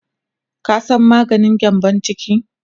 ka San maganin gyambun ciki?